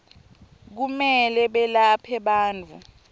kumele belaphe bantfu